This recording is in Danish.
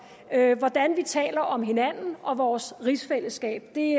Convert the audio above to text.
hvordan vi taler om hinanden og vores rigsfællesskab det